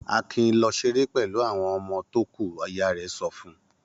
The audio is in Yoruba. Akin lọ ṣeré pẹ̀lú àwọn ọmọ tó kù! Ìyá rẹ̀ sọ fún un.